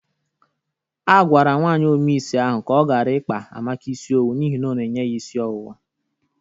A gwara nwaanyị ome isi ahụ ka ọ gara ikpa Amaka isi owu n'ihi ọ na-enye ya isi ọwụwa.